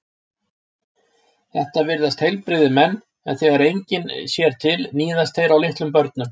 Þetta virðast heilbrigðir menn en þegar enginn sér til níðast þeir á litlum börnum.